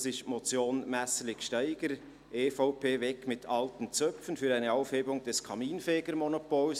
Es ist die Motion Messerli/Gsteiger, EVP, «Weg mit alten Zöpfen – Für eine Aufhebung des Kaminfegermonopols!